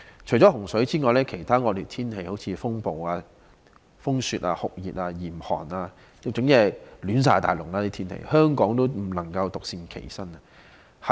除了洪水外，其他惡劣天氣如風暴、風雪、酷熱和嚴寒等也不斷影響世界各地，香港亦不能獨善其身。